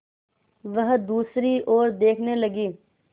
वह दूसरी ओर देखने लगी